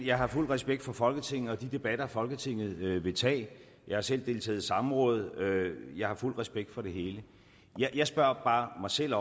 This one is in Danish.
jeg har fuld respekt for folketinget og de debatter folketinget vil tage jeg har selv deltaget i samråd jeg har fuld respekt for det hele jeg spørger bare mig selv